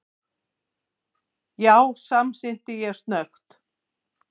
Já, samsinni ég snöggt.